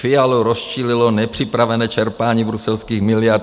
Fialu rozčílilo nepřipravené čerpání bruselských miliard."